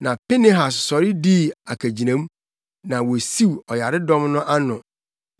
Na Pinehas sɔre dii akagyinamu, na wosiw ɔyaredɔm no ano.